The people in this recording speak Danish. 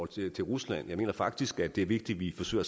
til rusland jeg mener faktisk at det er vigtigt at vi forsøger